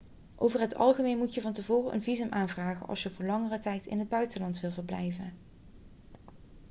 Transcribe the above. over het algemeen moet je van tevoren een visum aanvragen als je voor langere tijd in het buitenland wilt verblijven